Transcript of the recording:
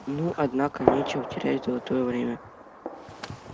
ну однако нечего терять золотое время